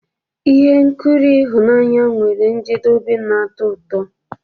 Ihe nkiri ịhụnanya nwere njedebe na-atọ ụtọ.